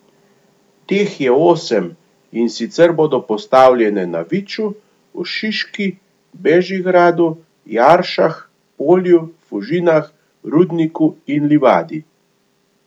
Teh je osem, in sicer bodo postavljene na Viču, v Šiški, Bežigradu, Jaršah, Polju, Fužinah, Rudniku in Livadi.